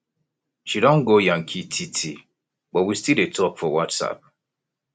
she don go yankee tee tee but we still dey talk for whatsapp